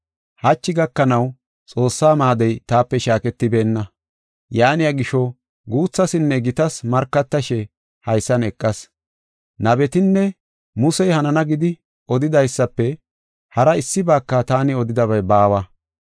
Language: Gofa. Hachi gakanaw Xoossaa maadey taape shaaketibeenna; yaaniya gisho, guuthaasinne gitaas markatashe haysan eqas. Nabetinne Musey hanana gidi odidaysafe haraa issibaaka taani odidabay baawa.